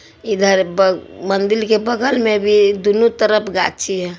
इधर बग मंदिल के बगल मे भी दूनू तरफ गाछी है।